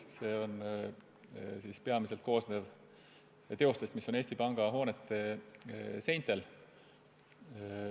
See koosneb peamiselt teostest, mis on Eesti Panga hoonete seintel.